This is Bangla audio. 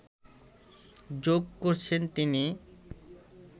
জোঁক করছেন তিনি